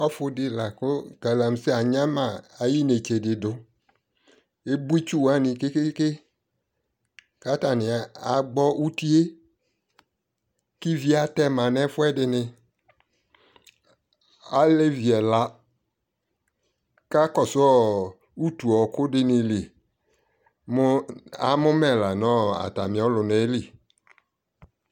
ɔfʋ di lakʋ galamse anyama inɛtsɛ di dʋ, ɛbɔ itsʋ wani kɛkɛɛkɛ kʋ atani agbɔ ʋtiɛ kʋ ivi atɛma nʋ ɛfʋɛdini, alɛvi ɛla kakɔsʋɔ ʋtʋ ɔkʋ dini li mʋ amʋ mɛ lanʋ atami ɔlʋnaɛ ɛli